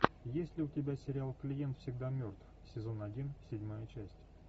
есть ли у тебя сериал клиент всегда мертв сезон один седьмая часть